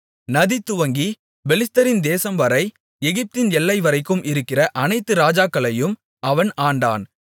நதி துவங்கிப் பெலிஸ்தரின் தேசம்வரை எகிப்தின் எல்லைவரைக்கும் இருக்கிற அனைத்து ராஜாக்களையும் அவன் ஆண்டான்